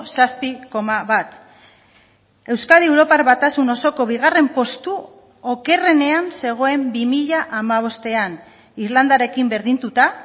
zazpi koma bat euskadi europar batasun osoko bigarren postu okerrenean zegoen bi mila hamabostean irlandarekin berdinduta